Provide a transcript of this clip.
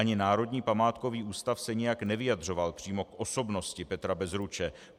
Ani Národní památkový ústav se nijak nevyjadřoval přímo k osobnosti Petra Bezruče.